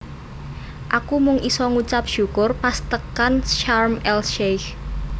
Aku mung iso ngucap syukur pas tekan Sharm El Sheikh